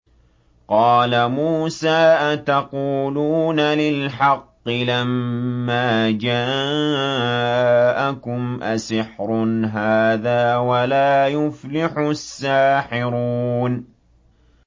قَالَ مُوسَىٰ أَتَقُولُونَ لِلْحَقِّ لَمَّا جَاءَكُمْ ۖ أَسِحْرٌ هَٰذَا وَلَا يُفْلِحُ السَّاحِرُونَ